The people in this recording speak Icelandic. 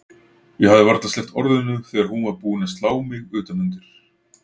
Ég hafði varla sleppt orðinu þegar hún var búin að slá mig utan undir.